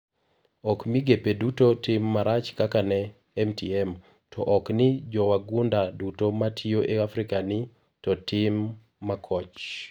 Ok migepe duto tim marach kaka ne MTM,to ok ni jowagunda duto ma tiyo e afrika ni to time makoch.